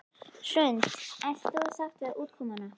Hrund: Ert þú sátt við útkomuna?